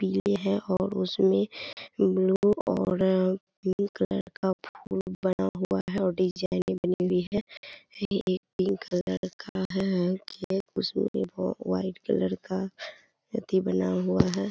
पीले है और उसमे ब्लू और का फूल बना हुआ है डिजाईन भी बनी हुई है यह पिंक कलर का है उसमे व्हाइट कलर का अथी बना हुआ है ।